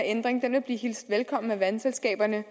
ændring vil blive hilst velkommen af vandselskaberne